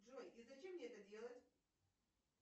джой и зачем мне это делать